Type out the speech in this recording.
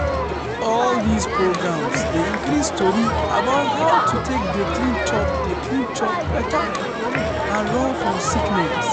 all dis programs dey increase tori about how to take dey clean chop dey clean chop better and run fom sickness.